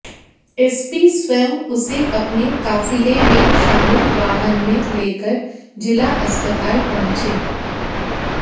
SP स्वयं उसे अपने काफिले में शामिल वाहन में लेकर जिला अस्पताल पहुंचे